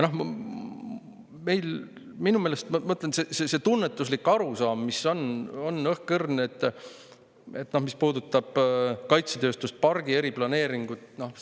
Ja minu meelest meil see tunnetuslik arusaam, mis puudutab kaitsetööstuspargi eriplaneeringut, on õhkõrn.